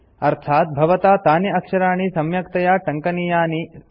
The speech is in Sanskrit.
अर्थात् भवता तानि अक्षराणि सम्यक्तया टङ्कनीयानि इति